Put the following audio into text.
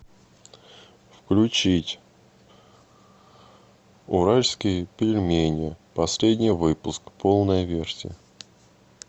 включить уральские пельмени последний выпуск полная версия